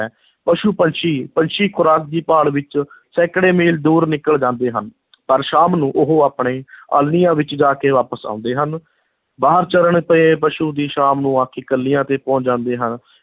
ਪਸ਼ੂ-ਪੰਛੀ, ਪੰਛੀ ਖੁਰਾਕ ਦੀ ਭਾਲ ਵਿੱਚ ਸੈਂਕੜੇ ਮੀਲ ਦੂਰ ਨਿਕਲ ਜਾਂਦੇ ਹਨ ਪਰ ਸ਼ਾਮ ਨੂੰ ਉਹ ਆਪਣੇ ਆਲ੍ਹਣਿਆਂ ਵਿੱਚ ਜਾ ਕੇ ਵਾਪਸ ਆਉਂਦੇ ਹਨ, ਬਾਹਰ ਚਰਨ ਪਏ ਪਸ਼ੂ ਵੀ ਸ਼ਾਮ ਨੂੰ ਆ ਕੇ ਕਿੱਲਿਆਂ ਤੇ ਪਹੁੰਚ ਜਾਂਦੇ ਹਨ।